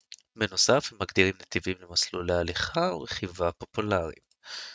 בנוסף הם מגדירים נתיבים למסלולי הליכה ורכיבה פופולריים